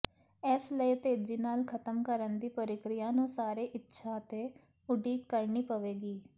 ਇਸ ਲਈ ਤੇਜ਼ੀ ਨਾਲ ਖਤਮ ਕਰਨ ਦੀ ਪ੍ਰਕਿਰਿਆ ਨੂੰ ਸਾਰੇ ਇੱਛਾ ਤੇ ਉਡੀਕ ਕਰਨੀ ਪਵੇਗੀ